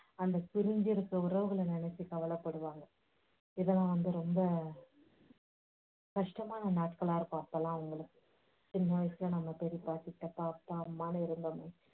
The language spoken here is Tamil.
அந்த பிரிஞ்சிருக்கற உறவுகளை நினைச்சு கவலைப்படுவாங்க. இதெல்லாம் வந்து ரொம்ப கஷ்டமான நாட்களா இருக்கும் அப்போயெல்லாம் அவங்களுக்கு. சின்ன வயசுல நம்ம பெரியப்பா, சித்தப்பா, அப்பா, அம்மான்னு இருந்தோமே